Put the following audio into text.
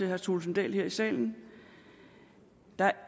herre thulesen dahl her i salen